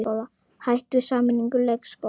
Hætt við sameiningu leikskóla